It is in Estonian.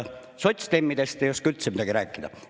Sotsdemmidest ei oska üldse midagi rääkida.